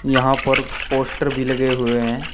यहां पर पोस्टर भी लगे हुए हैं।